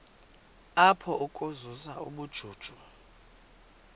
apha ukuzuza ubujuju